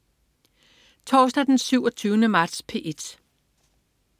Torsdag den 27. marts - P1: